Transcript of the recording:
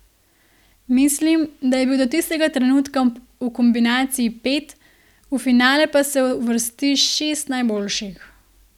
Mislim, da je bil do tistega trenutka v kombinaciji pet, v finale pa se uvrsti šest najboljših.